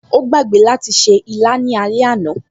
O gbàgbé láti ṣe ìlà ní alẹ́ àná